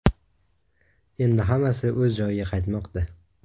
Endi hammasi o‘z joyiga qaytmoqda.